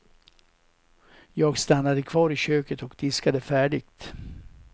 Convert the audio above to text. Jag stannade kvar i köket och diskade färdigt.